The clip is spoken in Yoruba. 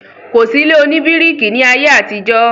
kò sí ilé òní bíríkì ní ayé àtijọ́.